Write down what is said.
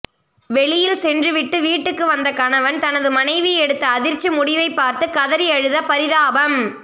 வெளியில் சென்றுவிட்டு வீட்டுக்கு வந்த கணவன் தனது மனைவி எடுத்த அதிர்ச்சி முடிவை பார்த்து கதறி அழுத பரிதாபம்